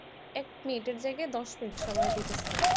এক minute এর জায়গায় দশ minute সময় দিতেছে